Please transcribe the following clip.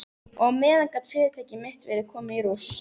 Og á meðan gat fyrirtæki mitt verið komið í rúst.